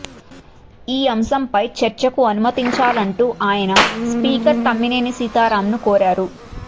ఈ అంశంపై చర్చకు అనుమతించాలంటూ ఆయన స్పీకర్ తమ్మినేని సీతారామ్ను కోరారు